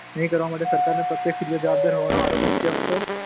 નહિ કરવા માટે સરકાર પ્રત્યક્ષ રીતે જવાબદાર હોવાનો આરોપ મુક્યો હતો.